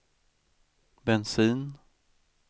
bensin